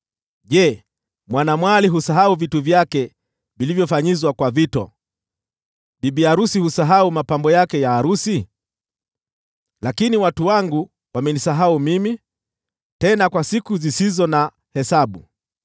Je, mwanamwali husahau vito vyake, au bibi arusi mapambo yake ya arusi? Lakini watu wangu wamenisahau mimi, tena kwa siku zisizo na hesabu.